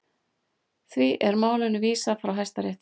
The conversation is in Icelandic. Því er málinu vísað frá Hæstarétti